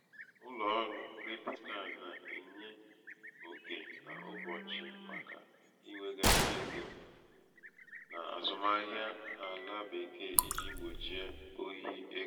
ụlọ̀ ọrụ̄ kredit kadị nà-ènye okè n’ụbọ̀chị̀ màkà iwèghàrị egō n’àzụmahịa àlà bekee ijī gbòchie ohi egō.